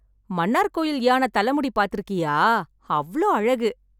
மன்னார்கோயில் யானை தலை முடி பாத்து இருக்கியா, அவ்ளோ அழகு.